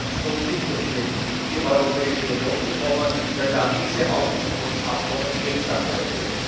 Ich würde Herrn Snowden nicht empfehlen, in die Europäische Union zu kommen, weil dann diese Auslieferungsabkommen wirksam werden würden.